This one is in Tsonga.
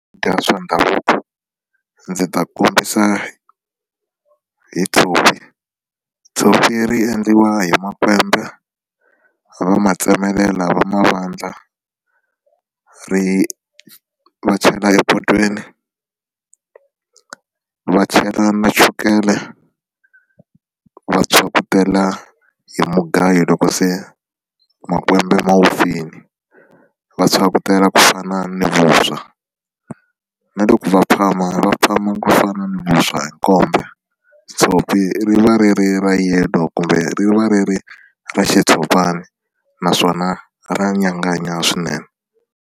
Swakudya swa ndhavuko ndzi ta kombisa hi tshopi tshopi ri endliwa hi makwembe va ma tsemelela va ma vandla ri va chela epotweni va chela na chukele va pyhakutela hi mugayo loko se makwembe ma vupfile va phyakutela ku fana ni vuswa na loko ku va phama va phama ku fana na vuswa hi nkombe tshopi ri va ri ri ra yellow kumbe ri va ri ri ra xitshopani naswona ra nyanganya swinene.